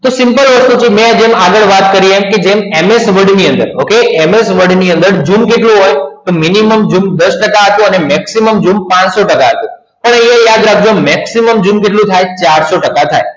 તો simple વસ્તુ છે મૈ જેમ વાત કરી MS Word ની અંદર zoom કેટલું હોય minimum zoom દસ ટકા હતું અને maximum zoom પાનસો ટકા હતું ખાલી એ યાદ રાખ જો maximum zoom ચારસો ટકા થાય